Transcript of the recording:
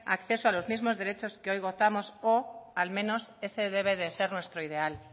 a los mismos derechos que hoy gozamos o al menos ese debe de ser nuestro ideal